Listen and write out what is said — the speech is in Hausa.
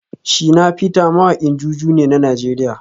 Shina peter mawakin JuJu ne na Najeriya